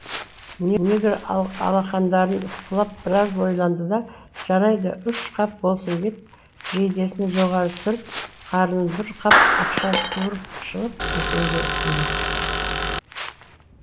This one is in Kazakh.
негір алақандарын ысқылап біраз ойланды да жарайды үш қап болсын деп жейдесін жоғары түріп қарнынан бір қап ақша суырып шығып есенге ұсынды